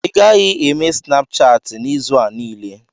ị gaghị eme Snapchatị n'izu a niile